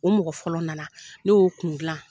O mɔgɔ fɔlɔ nana , ne y'o kun gilan.